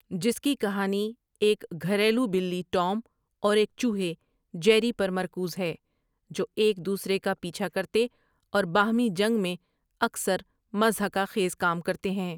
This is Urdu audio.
جس کی کہانی ایک گھریلو بلی ٹوم اور ایک چوہے جیری پر مرکوز ہے جو ایک دوسرے کا پیچھا کرتے اور باہمی جنگ میں اکثر مضحکہ خیز کام کرتے ہیں ۔